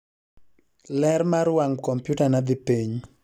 ler mar wang' kompyutana dhi piny